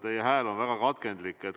Teie hääl on väga katkendlik.